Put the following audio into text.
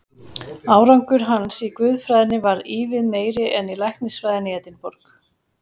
Árangur hans í guðfræðinni varð ívið meiri en í læknisfræðinni í Edinborg.